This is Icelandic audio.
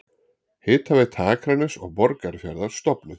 Hitaveita Akraness og Borgarfjarðar stofnuð.